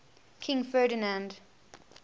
king ferdinand